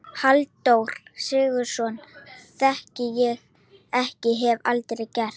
Halldór Sigurðsson þekki ég ekki- og hef aldrei gert.